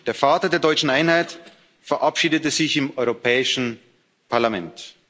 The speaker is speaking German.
Der Vater der deutschen Einheit verabschiedete sich im Europäischen Parlament.